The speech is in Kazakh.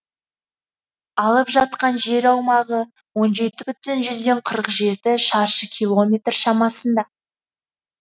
алып жатқан жер аумағы он жеті бүтін жүзден қырық жеті шаршы километр шамасында